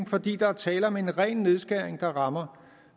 fordi der er tale om en ren nedskæring der rammer